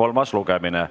kolmas lugemine.